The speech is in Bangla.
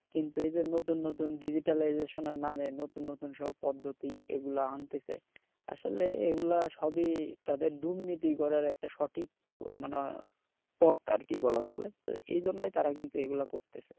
কিন্তু এই যে নতুন নতুন digitization নামে নতুন নতুন প্রদ্ধতি এগুলা আনতেছে আসলে এগুলা সবি তাদের দুর্নীতি করার একটা সঠিক মানে পথ আরকি বলা চলে তো এই জন্যেই কিন্তু তারা এগুলা করতেছে